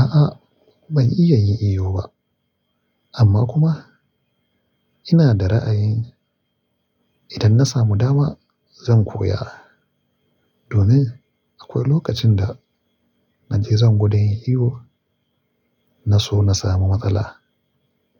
A'a ban iya yin iyo ba amma kuma ina da ra'ayi idan na samu dama zan koya domin akwai lokacin da na je zan gudan yin iyo na so na samu matsala